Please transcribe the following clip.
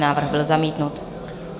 Návrh byl zamítnut.